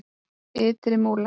Ytri Múla